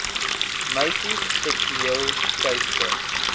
meisies seksueel teister